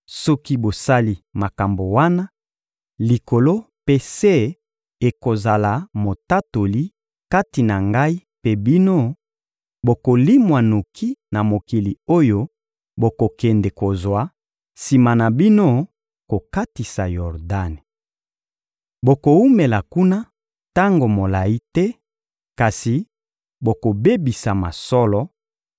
soki bosali makambo wana, likolo mpe se ekozala motatoli kati na ngai mpe bino: bokolimwa noki na mokili oyo bokokende kozwa sima na bino kokatisa Yordani. Bokowumela kuna tango molayi te, kasi bokobebisama solo;